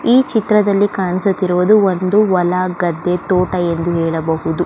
ಈ ಚಿತ್ರದಲ್ಲಿ ಕಾಣಿಸುತ್ತಿರುವುದು ಒಂದು ಹೊಲ ಗದ್ದೆ ತೋಟ ಎಂದು ಹೇಳಬಹುದು.